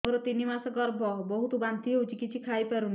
ମୋର ତିନି ମାସ ଗର୍ଭ ବହୁତ ବାନ୍ତି ହେଉଛି କିଛି ଖାଇ ପାରୁନି